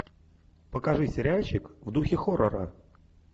покажи сериальчик в духе хоррора